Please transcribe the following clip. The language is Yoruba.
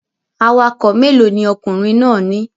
Awakọ̀ mélòó ni ọkùnrin náà ní